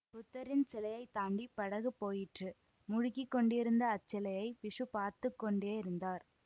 புத்தரின் சிலையைத் தாண்டி படகு போயிற்று முழுகிக் கொண்டிருந்த அச்சிலையைப் பிக்ஷு பார்த்து கொண்டேயிருந்தார்